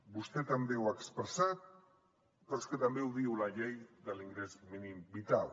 vostè també ho ha expressat però és que també ho diu la llei de l’ingrés mínim vital